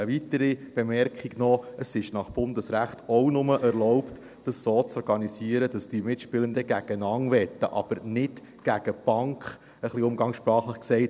Eine weitere Bemerkung noch: Es ist nach Bundesrecht auch nur erlaubt, es so zu organisieren, dass die Mitspielenden gegeneinander wetten, aber nicht gegen die Bank – umgangssprachlich gesagt.